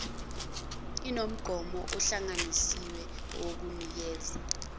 inomgomo ohlanganisiwe owukunikeza